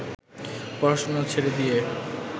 পড়াশোনা ছেড়ে দিয়ে